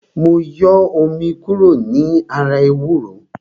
Mo yọ omi kúrò ní ara ewúro